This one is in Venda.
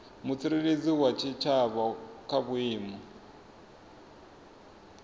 mutsireledzi wa tshitshavha kha vhuimo